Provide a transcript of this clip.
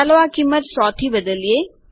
ચાલો આ કિંમત 100 થી બદલીએ